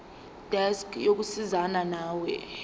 desk yokusizana nawe